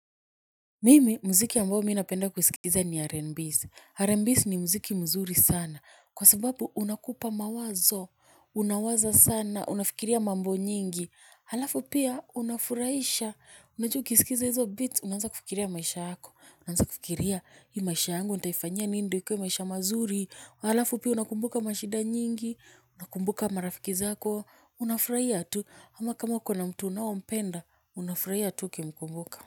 Mimi, mziki ambao mi napenda kusikiza ni R&B's. R&B's ni muziki mzuri sana. Kwa sababu, unakupa mawazo. Unawaza sana. Unafikiria mambo nyingi. Halafu pia unafurahisha. Unaju ukisikiza hizo beats unaanza kufikiria maisha yako. Unaanza kufikiria hii maisha yangu nitaifanya nini ndo ikuwe maisha mazuri. Halafu pia unakumbuka mashida nyingi. Unakumbuka marafiki zako unafurahia tu. Ama kama kama uko na mtu unaompenda. Unafurahia tu ukimkumbuka.